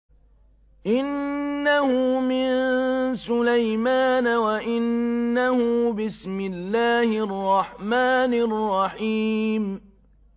إِنَّهُ مِن سُلَيْمَانَ وَإِنَّهُ بِسْمِ اللَّهِ الرَّحْمَٰنِ الرَّحِيمِ